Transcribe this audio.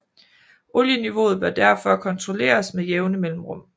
Olieniveauet bør derfor kontrolleres med jævne mellemrum